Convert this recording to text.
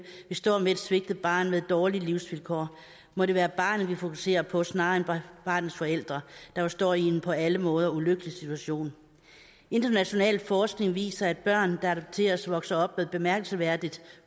vi står med et svigtet barn med dårlige livsvilkår må det være barnet vi fokuserer på snarere end barnets forældre der jo står i en på alle måder ulykkelig situation international forskning viser at børn der adopteres vokser op med bemærkelsesværdigt